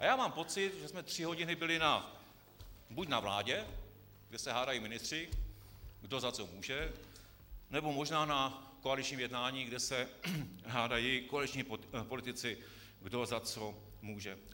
A já mám pocit, že jsme tři hodiny byli buď na vládě, kde se hádají ministři, kdo za co může, nebo možná na koaličním jednání, kde se hádají koaliční politici, kdo za co může.